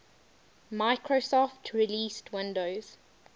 microsoft released windows